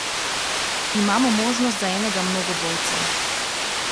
Imamo možnost za enega mnogobojca.